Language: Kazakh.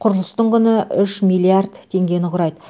құрылыстың құны үш миллиард теңгені құрайды